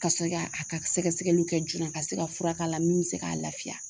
Ka se ka a ka sɛgɛsɛgɛluw kɛ joona ka se ka fura k'a la min be se k'a lafiya